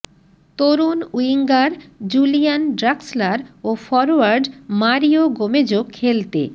তরুণ winger Julian Draxler ও forward Mario গোমেজও খেলতে